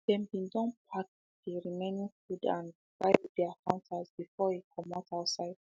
dem be don pack dey remaining food and um wiped dey counters before e comot outside